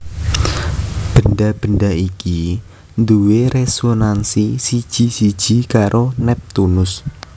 Bendha bendha iki duwé résonansi siji siji karo Neptunus